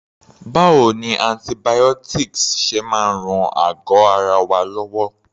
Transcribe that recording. Báwo ni antibiotics ṣe máa ń ran àgọ́ ara wa lọ́wọ́?